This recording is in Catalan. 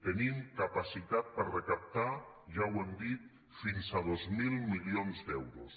tenim capacitat per recaptar ja ho hem dit fins a dos mil milions d’euros